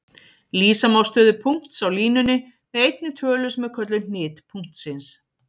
Lýsa má stöðu punkts á línunni með einni tölu sem er kölluð hnit punktsins.